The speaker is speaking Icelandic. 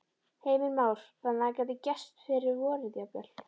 Heimir Már: Þannig að það gæti gerst fyrir vorið jafnvel?